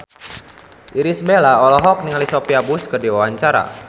Irish Bella olohok ningali Sophia Bush keur diwawancara